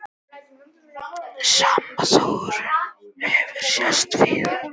Sama þróun hefur sést víðar.